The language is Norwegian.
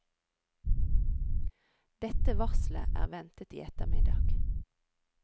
Dette varslet er ventet i ettermiddag.